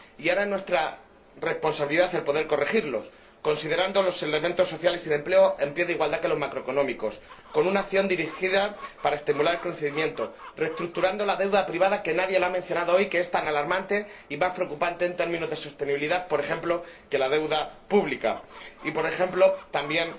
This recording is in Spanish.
Y ahora es nuestra responsabilidad poder corregirlas, considerando los elementos sociales y de empleo en pie de igualdad con los macroeconómicos, con una acción dirigida a estimular el conocimiento, reestructurando la deuda privada a la que nadie ha hecho hoy referencia—, que es tan alarmante y más preocupante en términos de sostenibilidad, por ejemplo, que la deuda pública, y también